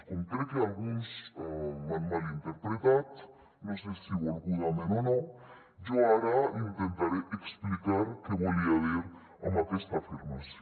com crec que alguns m’han malinterpretat no sé si volgudament o no jo ara intentaré explicar què volia dir amb aquesta afirmació